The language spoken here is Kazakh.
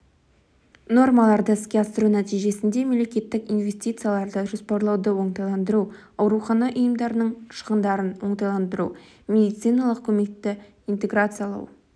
нормаларды іске асыру нәтижесінде мемлекеттік инвестицияларды жоспарлауды оңтайландыру аурухана ұйымдарының шығындарын оңтайландыру медициналық көмекті интеграциялау